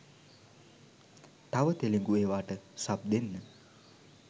තව තෙලුගු එවාට සබ් දෙන්න